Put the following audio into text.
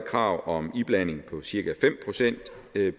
krav om iblanding på cirka fem procent